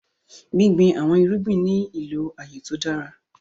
Gbìngbìn awọn èrùgbìn ní ilọ aaye tó dára.